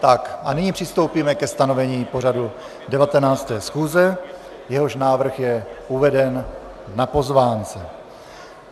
A nyní přistoupíme ke stanovení pořadu 19. schůze, jehož návrh je uveden na pozvánce.